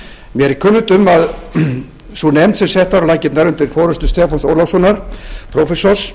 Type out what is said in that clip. mér er kunnugt um að sú nefnd sem sett var á laggirnar undir forustu stefáns ólafssonar prófessors